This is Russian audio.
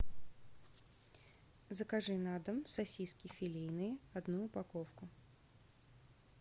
закажи на дом сосиски филейные одну упаковку